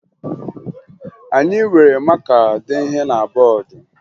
Anyị were maka dee ihe na bọọdụ